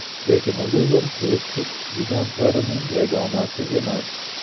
Lekin Luvr turistik gigantlarning yagonasi emas.